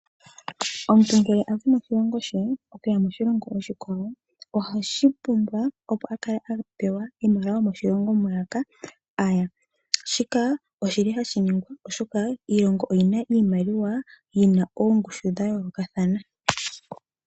Omuntu ngele azi moshilongo she okuya moshilongo oshikwawo ohashi pumbwa opo akale apewa iimaliwa yomoshilongo mwiya aya, shika ohashi ningwa oshoka iilongo oyina iimaliwa yina oongushu dha yolokathana.